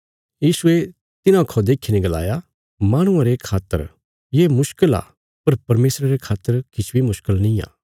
यीशुये तिन्हां खौ देखीने गलाया माहणुआं रे खातर त ये मुश्कल आ पर परमेशरा रे खातर किछ बी मुश्कल निआं